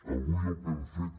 avui el que hem fet